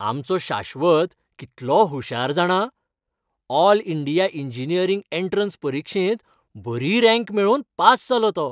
आमचो शाश्वत कितलो हुशार जाणा! ऑल इंडिया इंजिनीयरिंग एंट्रॅन्स परिक्षेंत वरी रँक मेळोवन पास जालो तो.